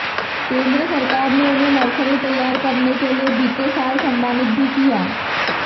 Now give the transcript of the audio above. केंद्र सरकार ने उन्हें नर्सरी तैयार करने के लिए बीते साल सम्मानित भी किया